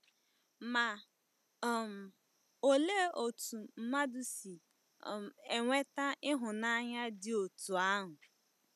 Ma um olee otú mmadụ si um enweta ịhụnanya dị otú ahụ?